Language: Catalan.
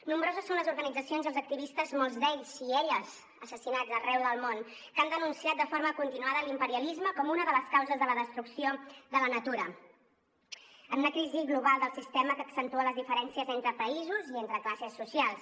nombroses són les organitzacions i els activistes molts d’ells i elles assassinats arreu del món que han denunciat de forma continuada l’imperialisme com una de les causes de la destrucció de la natura en una crisi global del sistema que accentua les diferències entre països i entre classes socials